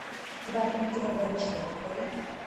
тварь питера бенчли открой